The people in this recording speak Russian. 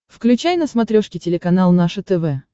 включай на смотрешке телеканал наше тв